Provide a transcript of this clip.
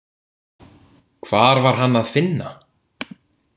Hvar var Hann að finna?